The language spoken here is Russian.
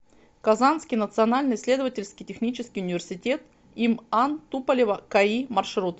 казанский национальный исследовательский технический университет им ан туполева каи маршрут